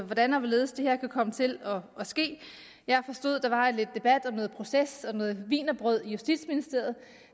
hvordan og hvorledes det her kan komme til at ske jeg forstod der var lidt debat om noget proces og noget wienerbrød i justitsministeriet